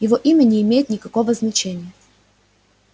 его имя не имеет никакого значения